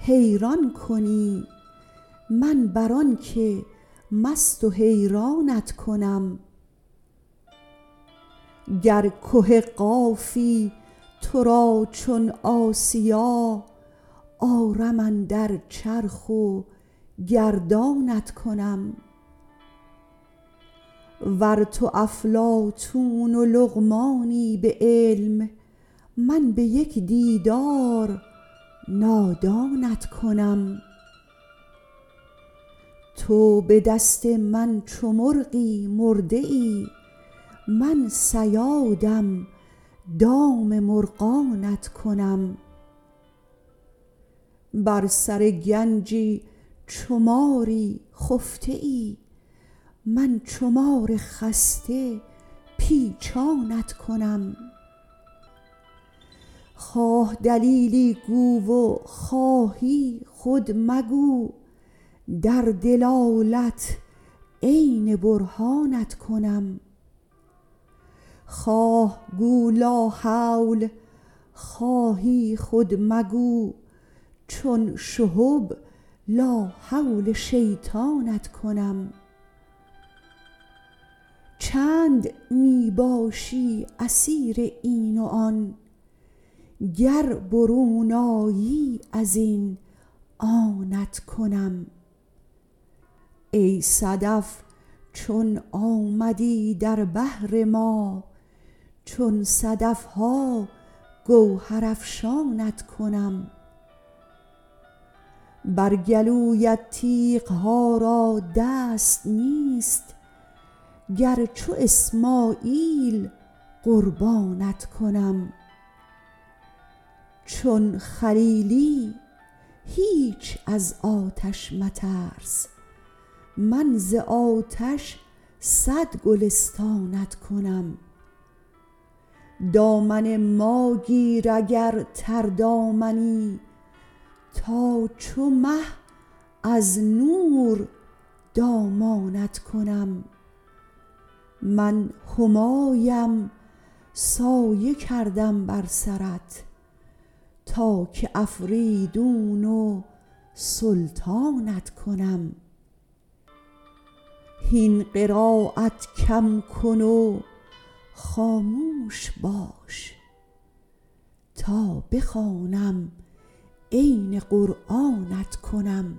حیران کنی من بر آنک مست و حیرانت کنم گر که قافی تو را چون آسیا آرم اندر چرخ و گردانت کنم ور تو افلاطون و لقمانی به علم من به یک دیدار نادانت کنم تو به دست من چو مرغی مرده ای من صیادم دام مرغانت کنم بر سر گنجی چو ماری خفته ای من چو مار خسته پیچانت کنم خواه دلیلی گو و خواهی خود مگو در دلالت عین برهانت کنم خواه گو لاحول خواهی خود مگو چون شهب لاحول شیطانت کنم چند می باشی اسیر این و آن گر برون آیی از این آنت کنم ای صدف چون آمدی در بحر ما چون صدف ها گوهرافشانت کنم بر گلویت تیغ ها را دست نیست گر چو اسماعیل قربانت کنم چون خلیلی هیچ از آتش مترس من ز آتش صد گلستانت کنم دامن ما گیر اگر تردامنی تا چو مه از نور دامانت کنم من همایم سایه کردم بر سرت تا که افریدون و سلطانت کنم هین قرایت کم کن و خاموش باش تا بخوانم عین قرآنت کنم